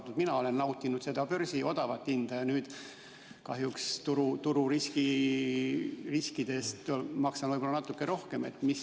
Ka mina olen nautinud seda odavat börsihinda, nüüd kahjuks tururiskide tõttu maksan võib-olla natuke rohkem.